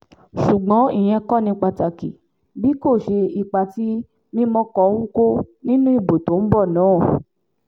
ṣùgbọ́n ìyẹn kò ní pàtàkì bí kò ṣe ipa tí mímọ́kọ ń kó nínú ìbò tó ń bọ̀ náà